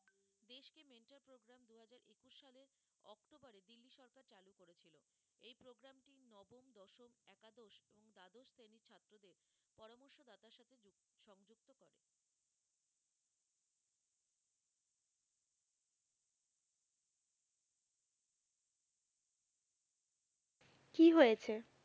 কি হয়েছে?